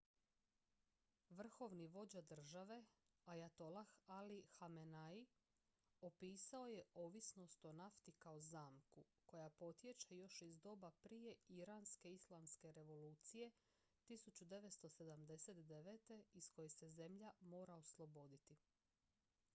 "vrhovni vođa države ajatolah ali hamenei opisao je ovisnost o nafti kao "zamku" koja potječe još iz doba prije iranske islamske revolucije 1979. iz koje se zemlja mora osloboditi.